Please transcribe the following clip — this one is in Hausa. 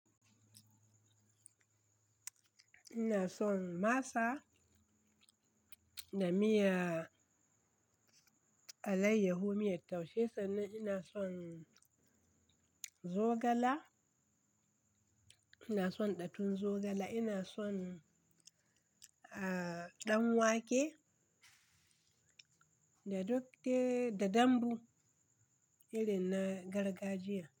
Ina son masa da miyar alaiyaho, miyar taushe sannan ina son zogale, ina son ɗatun zogale, ina son, ah, ɗan wake da duk dai da dambu irin na gargajiya.